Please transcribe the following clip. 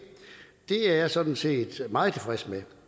er jeg sådan set meget tilfreds med